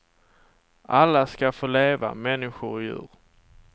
Alla ska få leva, människor och djur.